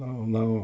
Não, não.